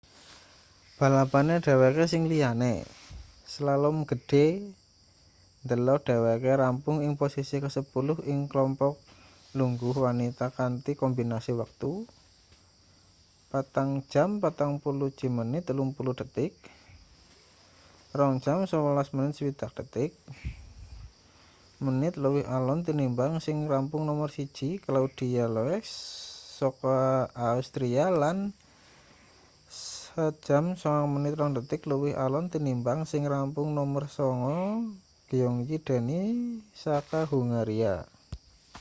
balapane dheweke sing liyane slalom gedhe ndelok dheweke rampung ing posisi kesepuluh ing klompok lungguh wanita kanthi kombinasi wektu 4:41.30 2:11.60 menit luwih alon tinimbang sing rampung nomer siji claudia loesch saka austria lan 1:09.02 luwih alon tinimbang sing rampung nomer sanga gyöngyi dani saka hungaria